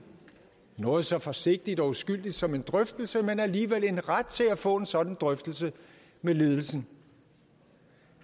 noget så forsigtigt og uskyldigt som en drøftelse men alligevel en ret til at få en sådan drøftelse med ledelsen